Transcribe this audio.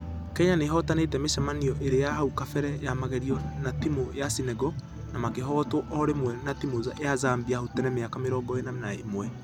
Kenya nĩihotanĩte mĩcamanio ĩrĩ ya hau kabere ya magerio na timũ ya senegal ,na makĩhotwo o rĩmwe na timũ ya zambia hau tene miaka mĩrongo ĩna na ĩmwe.